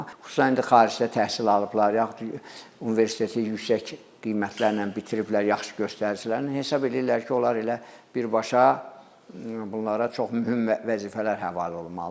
Amma xüsusən indi xaricdə təhsil alıblar, yaxud universiteti yüksək qiymətlərlə bitiriblər, yaxşı göstəricilərlə hesab eləyirlər ki, onlar elə birbaşa bunlara çox mühüm vəzifələr həvalə olunmalıdır.